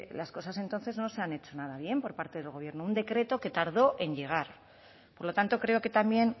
las cosas entonces no se han hecho nada bien por parte del gobierno un decreto que tardó en llegar por lo tanto creo que también